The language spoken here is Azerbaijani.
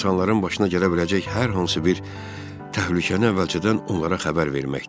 İnsanların başına gələ biləcək hər hansı bir təhlükəni əvvəlcədən onlara xəbər verməkdir.